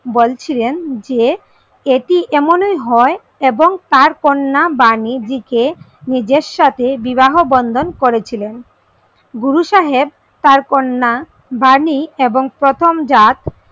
বলেছিলেন যে এটি এমনই হয় এবং তার কন্যা বাণীজী কে নিজের সাথে বিবাহ বন্ধন করেছিলেন। গুরুসাহেব তার কন্যা বাণী এবং প্রথম জটা,